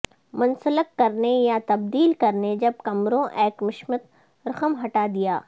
منسلک کرنے یا تبدیل کرنے جب کمروں ایکمشت رقم ہٹا دیا